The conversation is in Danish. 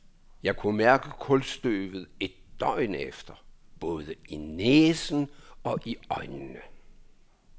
Jeg kunne mærke kulstøvet et døgn efter, både i næsen og øjnene.